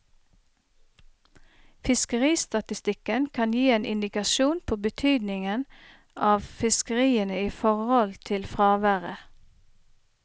Fiskeristatistikken kan gi en indikasjon på betydningen av fiskeriene i forhold til fraværet.